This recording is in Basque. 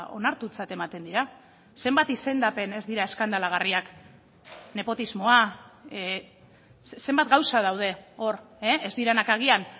onartutzat ematen dira zenbat izendapen ez dira eskandalagarriak nepotismoa zenbat gauza daude hor ez direnak agian